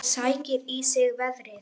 Sækir í sig veðrið.